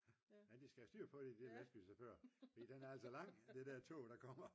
nej de skal have styr på det de der lastbilschauffører fordi den er lang det der tog der kommer